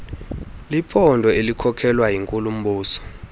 liphondo elikhokelwa yinkulumbuso